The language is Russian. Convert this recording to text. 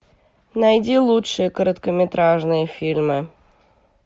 найди лучшие короткометражные фильмы